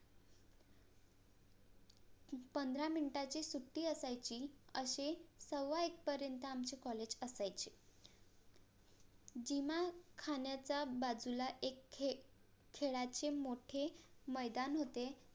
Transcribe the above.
पंधरा MINUTE ची सुट्टी असायची असे सव्वा एक पर्यंत आमचे COLLAGE असायचे जिमा खाण्याच्या बाजूला एक खेळाचे मोठे मैदान होते